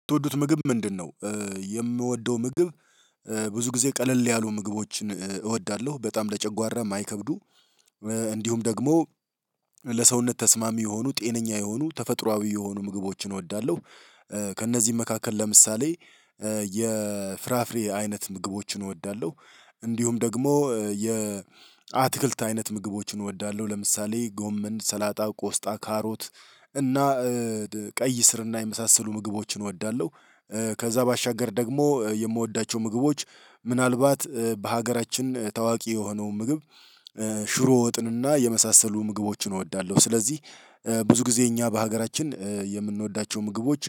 ምትወዱት ምግብ ምንድነው? የምወደው ምግብ ብዙ ጊዜ ቀለል ያሉ ምግቦችን እወዳለሁ በጣም ለጨጓራ የማይከብዱ። እንዲሁም ደግሞ ለሰውነት ተስማሚ የሆኑ ጤነኛ የሆኑ ተፈጥሮአዊ የሆኑ ምግቦችን እወዳለሁ። ከእነዚህም መካከል ለምሳሌ የፍራፍሬ አይነት ምግቦችን እወዳለሁ። እንዲሁም ደግሞ የ አትክልት አይነት ምግቦችን እወዳለሁ ለምሳሌ ጎምን ሰላጣ ቆስጣ ካሮት እና ቀይ ስርና የመሳሰሉ ምግቦችን እወዳለሁ። ከዛ ባሻገር ደግሞ የምወዳቸው ምግቦች ምናልባት በሀገራችን ታዋቂ የሆነውን ምግብ ሽሮ ወጥንና የመሳሰሉ ምግቦችን እወዳለሁ። ስለዚህ ብዙ ጊዜ እኛ በሀገራችን የምንወዳቸው ምግቦች